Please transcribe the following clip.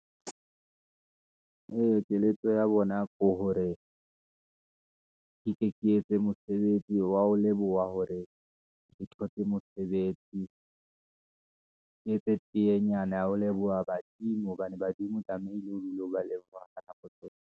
Ee keletso ya bona ko hore ke tle ke etse mosebetsi, wa ho leboha hore ke thotse mosebetsi , ke etse teyenyana ya ho leboha badimo, hobane badimo tlamehile o dule o ba leboha ka nako tsohle.